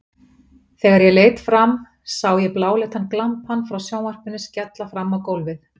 Þegar ég leit fram sá ég bláleitan glampann frá sjónvarpinu skella fram á gólfið.